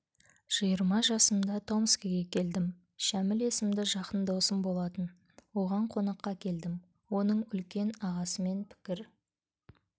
жиырма жасымда томскіге келдім шәміл есімді жақын досым болатын оған қонаққа келдім оның үлкен ағасымен пікір